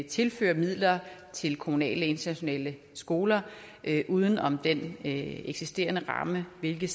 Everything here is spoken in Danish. tilføre midler til kommunale internationale skoler uden om den eksisterende ramme hvilket